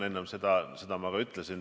Enne ma seda ka ütlesin.